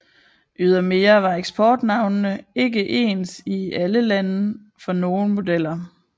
Ydermere var eksportnavne ikke ens i alle lande for nogle modeller